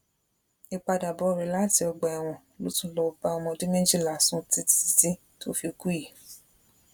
ìpadàbọ rẹ láti ọgbà ẹwọn ló tún lọọ bá ọmọ ọdún méjìlá sùn títí títí tó fi kú yìí